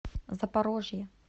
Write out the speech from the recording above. запорожье